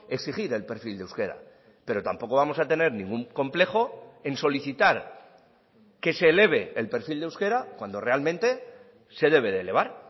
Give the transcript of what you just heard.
exigir el perfil de euskera pero tampoco vamos a tener ningún complejo en solicitar que se eleve el perfil de euskera cuando realmente se debe de elevar